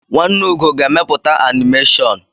Nwanne Ugo ga-emepụta anịmeshọn.